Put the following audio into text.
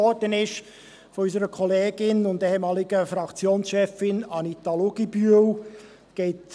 Es geht hier um eine Motion von unserer Kollegin und ehemaligen Fraktionschefin Anita Luginbühl, die als Postulat überwiesen wurde.